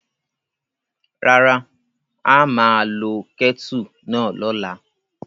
Rárá, a máa lo kẹ́tù náà lọ́la.